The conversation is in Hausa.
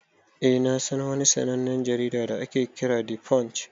Eh na San wani sannanen jarida da ake Kiran 'the punch'